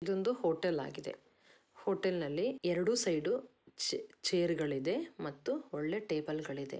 ಇದೊಂದು ಹೋಟೆಲ್ ಆಗಿದೆ ಹೋಟೆಲ್ನಲ್ಲಿ ಎರೆಡೂ ಸೈಡೂ ಚೆ ಚೇರ್ ಗಳಿದೆ ಮತ್ತು ಒಳ್ಳೆ ಟೇಬಲ್ ಗಳಿದೆ.